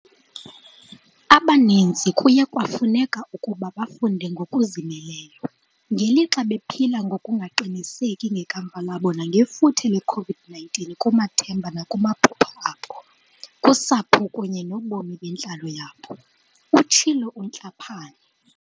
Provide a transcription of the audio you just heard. "Abaninzi kuye kwafuneka ukuba bafunde ngokuzimeleyo, ngelixa bephila ngokungaqiniseki ngekamva labo nangefuthe le-COVID-19 kumathemba nakumaphupha abo, kusapho kunye nobomi bentlalo yabo," utshilo uTlhapane.